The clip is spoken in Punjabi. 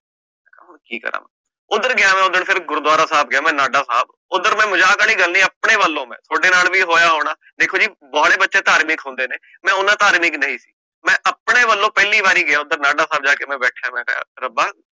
ਕਿ ਕਰਾ, ਓਦਰ ਗਯਾ ਮੈਂ ਦਰਅਸਲ ਗੁਰਦੁਆਰਾ ਸਾਹਬ ਗਯਾ ਮੈਂ ਨਾਡਾ ਸਾਹਬ ਓਦਰ ਮੈਂ ਮਜਾਕ ਆਲੀ ਗੱਲ ਨੀ ਆਪਣੇ ਵਲੋਂ ਮੈਂ ਥੋਡੇ ਨਾਲ ਵੀ ਇਹ ਹੋਯਾ ਹੋਣਾ, ਦੇਖੋ ਜੀ ਪੁਰਾਣੇ ਬਚੇ ਧਾਰਮਿਕ ਹੁੰਦੇ ਹਨ, ਮੈਂ ਓਨਾ ਧਾਰਮਿਕ ਨਹੀਂ ਸੀ, ਮੈਂ ਆਪਣੇ ਵਲੋਂ ਪਹਿਲੀ ਵਾਰੀ ਗਯਾ ਮੈਂ ਓਦਰ ਨਾਡਾ ਸਾਹਬ ਜਾ ਕੇ ਬੈਠਾ ਮੈਂ, ਮੈ ਕਹ ਰੱਬਾ